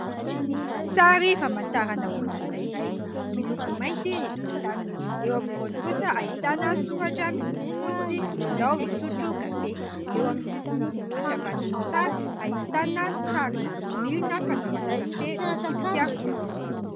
Sary famantarana orinasa iray miloko mainty ny tokotaniny. Eo ampovoany kosa ahitana soratra miloko fotsy :« ndao hisotro kafe »; eo amin'ny sisiny ankavanan'ny sary ahitana sarina milina, fanaovana kafe, mitsipika fotsy.